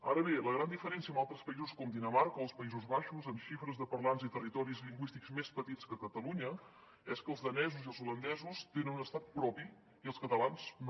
ara bé la gran diferència amb altres països com dinamarca o els països baixos amb xifres de parlants i territoris lingüístics més petits que catalunya és que els danesos i els holandesos tenen un estat propi i els catalans no